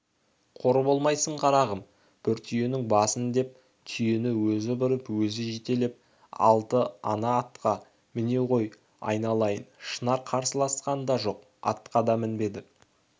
қор болмайсың қарағым бұр түйеңнің басын деп түйені өзі бұрып өзі жетелеп алды ана атқа міне ғой айналайын шынар қарсыласқан да жоқ атқа да мінбеді